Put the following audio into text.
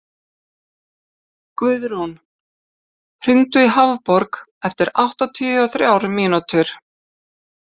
Guðrún, hringdu í Hafborg eftir áttatíu og þrjár mínútur.